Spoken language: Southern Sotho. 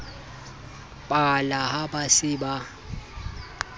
pala ha ba se ba